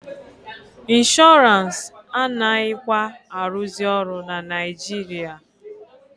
Inshọrance anaghịkwa arụzị ọrụ na Naijiria.